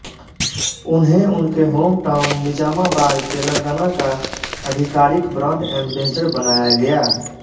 उन्हें उनके home town Nizamabad Telangana का आधिकारिक ब्रांड एंबेसडर बनाया गया